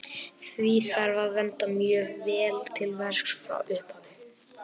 Því þarf að vanda mjög vel til verks frá upphafi.